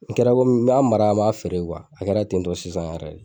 N tora komi n m'a mara n m'a feere kuwa a kɛra ten tɔ sisan yɛrɛ le